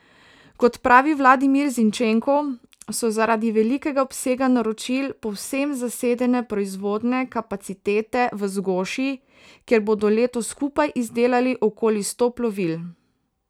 Kot pravi Vladimir Zinčenko, so zaradi velikega obsega naročil povsem zasedene proizvodne kapacitete v Zgoši, kjer bodo letos skupaj izdelali okoli sto plovil.